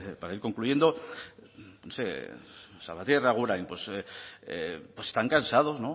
para ir concluyendo no sé salvatierra agurain